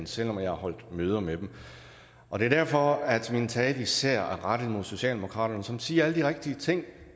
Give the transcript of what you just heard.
selv om jeg har holdt møder med dem og derfor er min tale især rettet mod socialdemokratiet som siger alle de rigtige ting